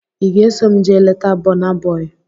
Ị ga-eso m jee leta Bọna Bọi?